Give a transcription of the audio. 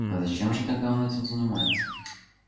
а зачем же тогда он этим занимается